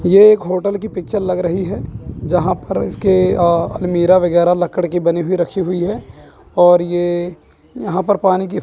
ये एक होटल की पिक्चर लग रही है जहां पर इसके अह अलमीरा वगैरह लक्कड़ की बनी हुई रखी हुई है और ये यहां पर पानी की--